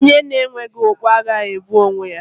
Onye na-enweghi okpu agaghị egbu onwe ya.